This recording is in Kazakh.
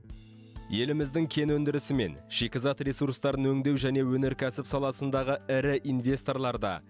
еліміздің кен өндірісі мен шикізат ресурстарын өңдеу және өнеркәсіп саласындағы ірі инвесторлар да